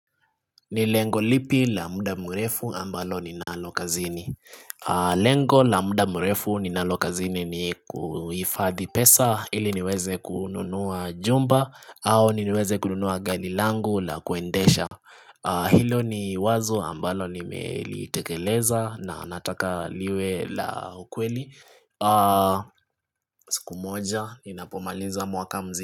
Ni lengo lipi la muda mrefu ambalo ninalo kazini Lengo la muda mrefu ninalo kazini ni kufadhi pesa ili niweze kununua jumba au niweze kununua gari langu la kuendesha Hilo ni wazo ambalo nimelitekeleza na nataka liwe la ukweli siku moja ninapomaliza mwaka mzi.